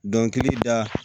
i bi da